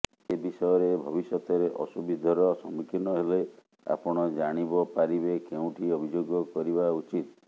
ଏ ବିଷୟରେ ଭବିଷ୍ୟତରେ ଅସୁବିଧାୀର ସମ୍ମୁଖୀନ ହେଲେ ଆପଣ ଜାଣିବପାରିବେ କେଉଁଠି ଅଭିଯୋଗ କରିବା ଉଚିିତ